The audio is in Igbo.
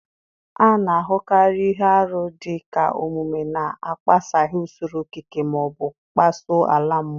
A na-ahụkarị ihe arụ dị ka omume na-akpaghasị usoro okike ma ọ bụ kpasuo ala mmụọ.